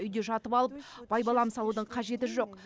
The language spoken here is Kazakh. үйде жатып алып байбалам салудың қажеті жоқ